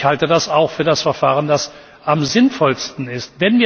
Ich halte das auch für das Verfahren, das am sinnvollsten ist.